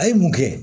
A ye mun kɛ